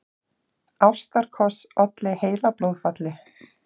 Ástarkoss olli heilablóðfalli